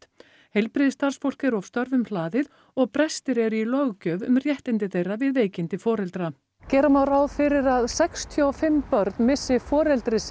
heilbrigðisstarfsfólk er of störfum hlaðið og brestir eru í löggjöf um rétt þeirra við veikindi foreldra gera má ráð fyrir að sextíu og fimm börn missi foreldri